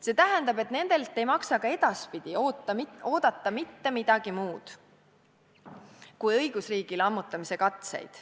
See tähendab, et nendelt ei maksa ka edaspidi oodata mitte midagi muud kui õigusriigi lammutamise katseid.